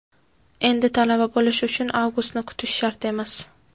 endi Talaba bo‘lish uchun Avgustni kutish shart emas!.